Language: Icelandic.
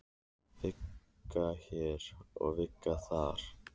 Vika hér og vika þar.